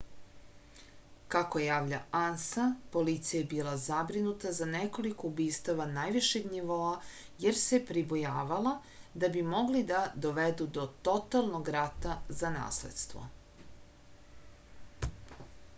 kako javlja ansa policija je bila zabrinuta za nekoliko ubistava najvišeg nivoa jer se pribojavala da bi mogli da dovedu do totalnog rata za nasledstvo